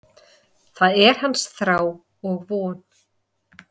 Það er hans þrá og von.